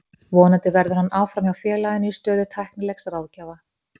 Vonandi verður hann áfram hjá félaginu í stöðu tæknilegs ráðgjafa.